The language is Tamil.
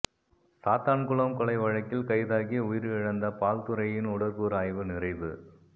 சாத்தான்குளம் கொலை வழக்கில் கைதாகி உயிரிழந்த பால்துரையின் உடற்கூறு ஆய்வு நிறைவு